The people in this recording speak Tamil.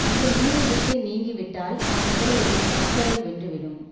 அந்த நீரைவிட்டு நீங்கி விட்டால் அம்முதலையை மற்றவை வென்றுவிடும்